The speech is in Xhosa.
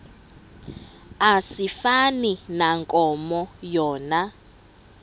asifani nankomo yona